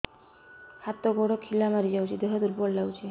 ହାତ ଗୋଡ ଖିଲା ମାରିଯାଉଛି ଦେହ ଦୁର୍ବଳ ଲାଗୁଚି